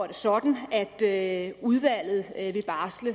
det sådan at udvalget vil barsle